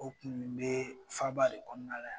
O kun be faba de kɔnɔna la